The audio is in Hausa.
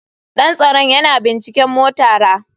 Dan tsaron yana binciken motara.